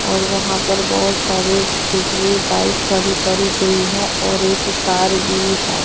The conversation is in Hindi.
और वहां पर बहुत सारे स्कूटरी बाइक खड़ी करी गई है और एक कार भी है।